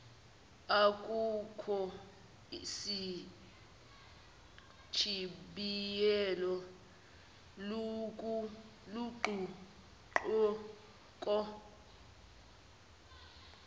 akukho sichibiyelo luguquko